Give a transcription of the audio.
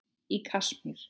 Í Kasmír,